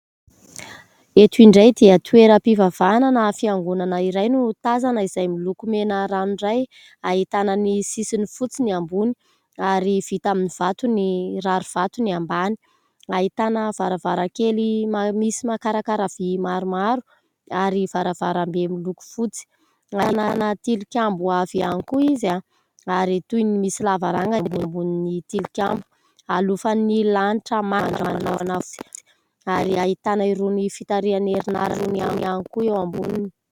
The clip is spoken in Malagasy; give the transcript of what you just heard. Eto indray dia toeram-pivavahana na fiangonana iray no tazana izay miloko mena rano iray ahitana ny sisiny fotsy ny ambony ary vita amin'ny vato ny rarovato ny ambany ahitana varavarakely misy makarakara vy maromaro ary varavaram-be miloko fotsy ahitana tilikambo avy any koa izy ary toy ny misy lavaranga ny ambombonin'ny tilikambo ihalofan'ny lanitra manga ary ahitana jiro fitarian'ny herin'aratra ihany koa eo ambony.